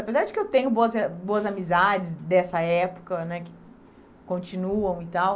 Apesar de que eu tenho boas eh boas amizades dessa época né, que continuam e tal,